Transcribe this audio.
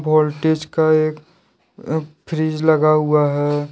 Voltage का एक fridge लगा हुआ है।